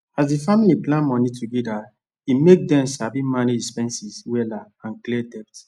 as the family plan money together e make them sabi manage expenses wella and clear debt